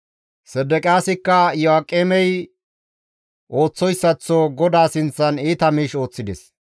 Sedeqiyaasika Iyo7aaqemey ooththoyssaththo GODAA sinththan iita miish ooththides.